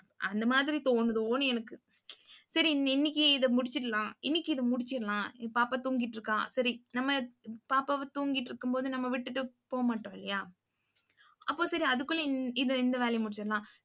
அந்த மாதிரி தோணுதோன்னு எனக்கு. சரி, இன்னைக்கு இதை முடிச்சிடலாம். இன்னைக்கு இதை முடிச்சிடலாம். பாப்பா தூங்கிட்டு இருக்கா. சரி நம்ம பாப்பாவை தூங்கிட்டு இருக்கும்போது நம்ம விட்டுட்டு போக மாட்டோம் இல்லையா அப்போ சரி அதுக்குள்ள இது இந்த வேலையை முடிச்சிடலாம்.